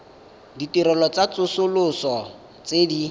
ditirelo tsa tsosoloso tse di